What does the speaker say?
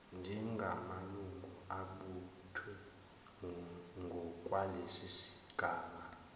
njengamalungu abuthwe ngokwalesigaba